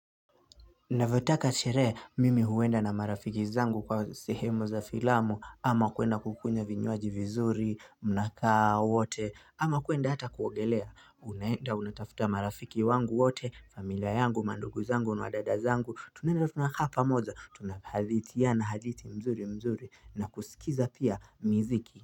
Napotaka sherehe, mimi huenda na marafiki zangu kwa sehemu za filamu, ama kuenda kukunya vinyuaji vizuri, mnakaa wote, ama kuenda hata kuogelea, unaenda, unatafuta marafiki wangu wote, familia yangu, mandugu zangu, madada zangu, tunaenda tunakaa pamoja, tunahadidhiana hadidhi mzuri mzuri, na kusikiza pia miziki.